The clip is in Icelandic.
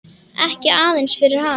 Ekki aðeins fyrir hana.